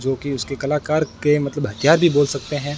जो कि उसके कलाकार के मतलब हथियार भी बोल सकते हैं।